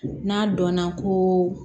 N'a dɔnna ko